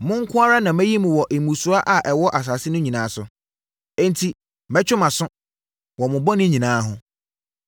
“Mo nko ara na mayi mo wɔ mmusua a ɛwɔ asase so nyinaa mu; enti mɛtwe mo aso wɔ mo bɔne nyinaa ho.”